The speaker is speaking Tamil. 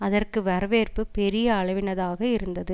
அதற்கு வரவேற்பு பெரிய அளவினதாக இருந்தது